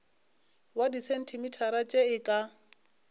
wa disentimetara tše e ka